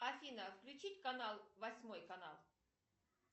афина включить канал восьмой канал